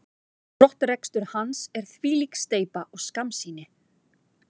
Brottrekstur hans er þvílík steypa og skammsýni.